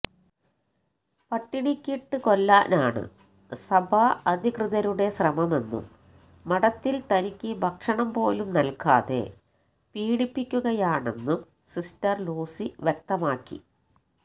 പട്ടിണിക്കിട്ട് കൊല്ലാനാണ് സഭാ അധികൃതരുടെ ശ്രമമെന്നും മഠത്തില് തനിക്ക് ഭക്ഷണം പോലും നല്കാതെ പീഡിപ്പിക്കുകയാണെന്നും സിസ്റ്റർ ലൂസി വ്യക്തമാക്കി